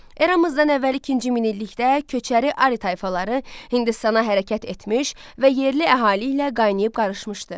Eramızdan əvvəl ikinci minillikdə köçəri Ari tayfaları Hindistana hərəkət etmiş və yerli əhali ilə qaynayıb-qarışmışdı.